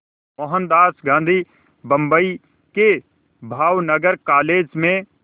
मोहनदास गांधी बम्बई के भावनगर कॉलेज में